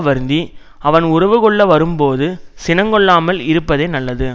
வருந்தி அவன் உறவு கொள்ள வரும் போது சினங்கொள்ளாமல் இருப்பதே நல்லது